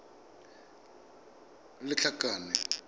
lethakane